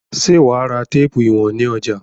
Ṣé wà á ra téépù ìwọ̀n ní ọjà?